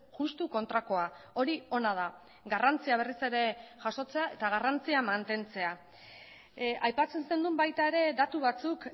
justu kontrakoa hori ona da garrantzia berriz ere jasotzea eta garrantzia mantentzea aipatzen zenuen baita ere datu batzuk